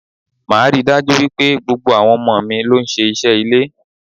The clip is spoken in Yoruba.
Máa rí dájú wípé gbogbo àwọn ọmọ mi ló ń ṣe iṣẹ́ ilé.